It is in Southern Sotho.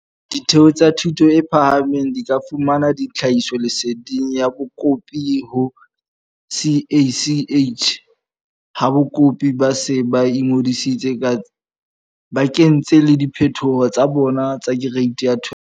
Ditheo tsa thuto e phahameng di ka fumana tlhahisoleseding ya bakopi ho CACH ha bakopi ba se ba ingodisitse ba kentse le diphetho tsa bona tsa Kereiti ya 12.